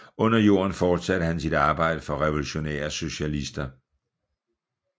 Under jorden fortsatte han sit arbejde for Revolutionære Socialister